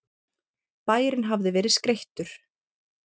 Bærinn hafði verið skreyttur.